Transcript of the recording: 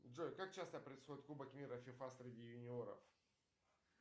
джой как часто происходит кубок мира фифа среди юниоров